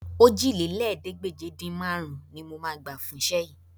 Òjìlélẹ́ẹ̀ẹ́dégbèje-dín-márùn-ún ni máa gbà fún iṣẹ́ yìí